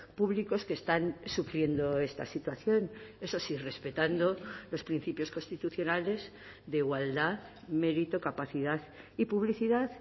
públicos que están sufriendo esta situación eso sí respetando los principios constitucionales de igualdad mérito capacidad y publicidad